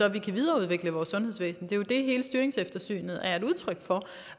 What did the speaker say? at vi kan videreudvikle vores sundhedsvæsen det er jo det hele styringseftersynet er et udtryk for